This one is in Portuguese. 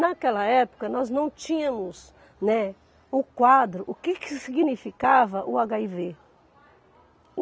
Naquela época, nós não tínhamos, né, o quadro, o que que significava o agáivê.